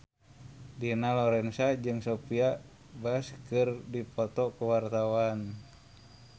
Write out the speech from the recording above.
Dina Lorenza jeung Sophia Bush keur dipoto ku wartawan